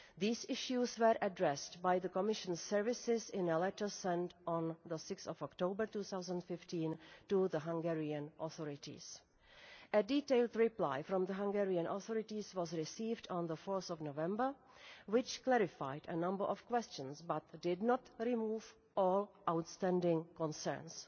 These issues were addressed by the Commission's services in a letter sent on 6 October 2015 to the Hungarian authorities. A detailed reply from the Hungarian authorities was received on 4 November, which clarified a number of questions but did not remove all outstanding concerns.